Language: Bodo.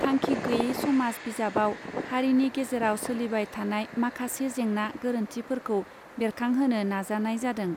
थांखि गैये समाज बिजाबाव हारिनि गेजेराव सोलिबाय थानाय माखासे जेंना गोरोन्थिफोरखौ बेरखांहोनो नाजानाय जादों.